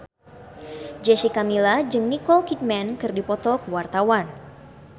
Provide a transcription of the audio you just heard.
Jessica Milla jeung Nicole Kidman keur dipoto ku wartawan